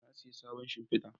Na saya sabon shimfida